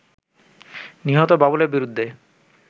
নিহত বাবুলের বিরুদ্ধে